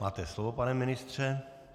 Máte slovo, pane ministře.